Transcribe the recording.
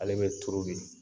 Ale bɛ tuuru de